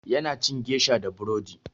Ya na cin gesha da burodi.